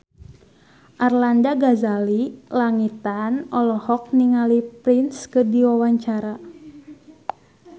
Arlanda Ghazali Langitan olohok ningali Prince keur diwawancara